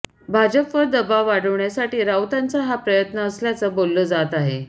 भाजपवर दबाव वाढवण्य़ासाठी राऊतांचा हा प्रयत्न असल्याचं बोललं जातं आहे